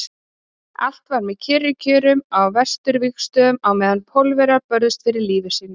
Allt var með kyrrum kjörum á Vesturvígstöðvunum á meðan Pólverjar börðust fyrir lífi sínu.